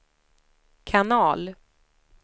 kanal